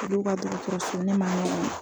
Olu ka dɔkɔtɔrɔso ne ma